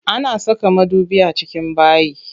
Ana saka madubi a cikin bayi.